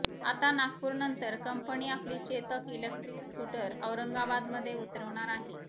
आता नागपूरनंतर कंपनी आपली चेतक इलेक्ट्रिक स्कूटर औरंगाबादमध्ये उतरवणार आहे